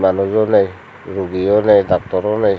balojo nei rugiyonei doctoro nei.